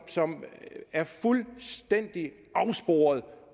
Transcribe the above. som er fuldstændig afsporet